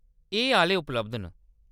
एह् आह्‌ले उपलब्ध न।